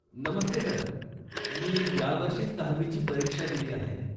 नमस्ते sir, मी यावर्षीच दहावी ची परीक्षा दिली आहे.